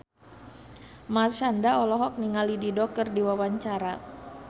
Marshanda olohok ningali Dido keur diwawancara